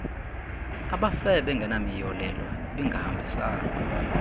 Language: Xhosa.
abafe bengenamiyolelo ibingahambisani